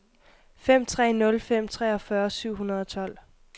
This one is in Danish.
fem tre nul fem treogfyrre syv hundrede og tolv